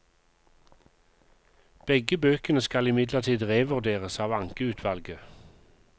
Begge bøkene skal imidlertid revurderes av ankeutvalget.